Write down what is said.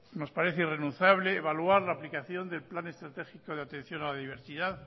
nos parece irrenunciable evaluar la aplicación del plan estratégico de atención a la diversidad